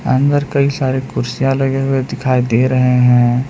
अंदर कई सारे कुर्सियां लगे हुए दिखाई दे रहे हैं।